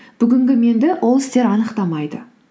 бүгінгі менді ол істер анықтамайды